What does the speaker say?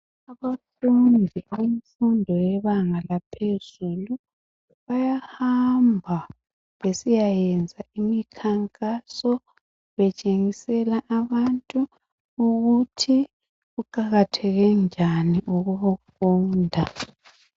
Abafundi bemfundo yebanga laphezulu bayahamba besiyayenza imkhankaso betshengisela abantu ukuthi kuqakatheke njani ukufunda.